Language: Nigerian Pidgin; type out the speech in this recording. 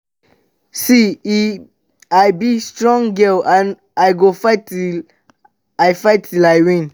see eh i be strong girl and i go dey fight till i fight till i win